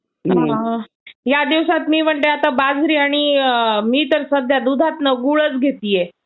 ह्या दिवसात मी म्हणते सध्या बाजरी आणि मी तर सध्या दुधातून गुळच घेत आहे